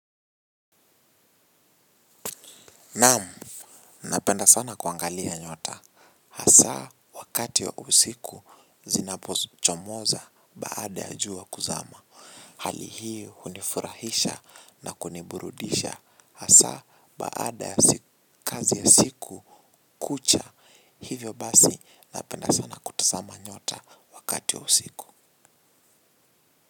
Naam, napenda sana kuangalia nyota. Hasa, wakati wa usiku, zinapochomoza baada ya jua kuzama. Hali hii, hunifurahisha na kuniburudisha. Hasa, baada ya kazi ya siku, kucha. Hivyo basi, napenda sana kutazama nyota wakati ya usiku.